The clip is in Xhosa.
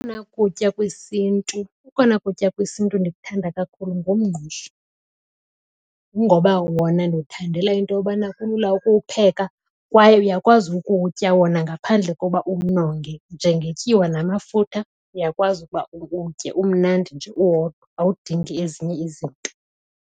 Okona kutya kwesiNtu, okona kutya kwesiNtu endikuthanda kakhulu ngumngqusho. Kungoba wona ndiwuthandela into yobana kulula ukuwupheka kwaye uyakwazi ukuwutya wona ngaphandle koba uwunonge. Njengetyiwa namafutha uyakwazi ukuba uwutye. Umnandi nje uwodwa, awudingi ezinye izinto.